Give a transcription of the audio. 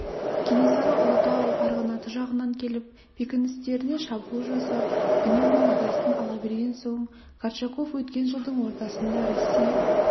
кенесары ұлытау арғынаты жағынан келіп бекіністеріне шабуыл жасап үнемі мазасын ала берген соң горчаков өткен жылдың ортасында россия